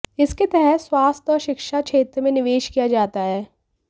इसके तहत स्वास्थ्य और शिक्षा क्षेत्र में निवेश किया जाता है